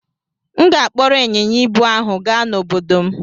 M ga-akpọrọ ịnyịnya ibu ahụ gaa n'obodo m.